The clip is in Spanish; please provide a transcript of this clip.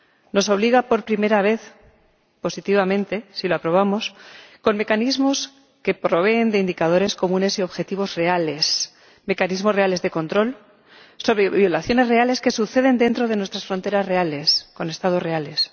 Nos obliga por primera vez —positivamente, si lo aprobamos— con mecanismos que proveen indicadores comunes y objetivos reales, mecanismos reales de control sobre violaciones reales que suceden dentro de nuestras fronteras reales, con Estados reales.